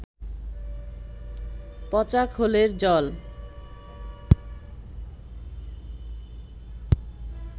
পচা খোলের জল